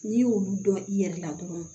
N'i y'olu dɔn i yɛrɛ la dɔrɔn